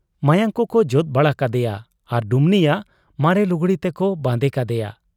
ᱢᱟᱭᱟᱝ ᱠᱚᱠᱚ ᱡᱚᱫ ᱵᱟᱲᱟ ᱠᱟᱫᱮᱭᱟ ᱟᱨ ᱰᱩᱢᱱᱤᱭᱟᱜ ᱢᱟᱨᱮ ᱞᱩᱜᱽᱲᱤ ᱛᱮᱠᱚ ᱵᱟᱸᱫᱮ ᱠᱟᱫᱮᱭᱟ ᱾